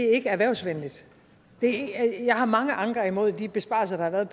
er ikke erhvervsvenligt jeg har mange anker imod de besparelser der har været